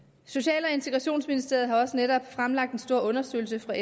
social og integrationsministeriet har også netop fremlagt en stor undersøgelse fra